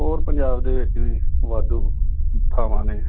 ਹੋਰ ਪੰਜਾਬ ਦੇ ਵਿੱਚ ਵੀ ਵਾਧੂ ਥਾਵਾਂ ਨੇ।